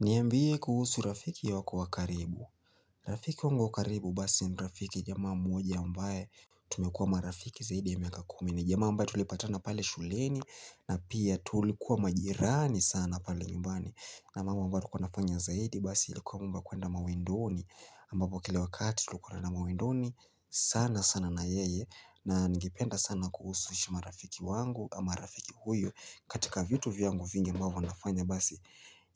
Niambie kuhusu rafiki wako wa karibu. Rafiki wangu wa karibu basi ni rafiki jamaa mmoja ambaye tumekua marafiki zaidi ya miaka kumi ni. Jamaa ambaye tulipatana pale shuleni na pia tulikuwa majirani sana pale nyumbani. Na mambo ambayo tulikuwa tunafanya zaidi basi ilikuwa mambo ya kwenda mawindoni. Ambapo kila wakati tulikuwa tunaenda mawindoni sana sana na yeye. Na ningependa sana kuhusisha marafiki wangu ama rafiki huyu. Katika vitu vyangu vingi ambavyo nafanya basi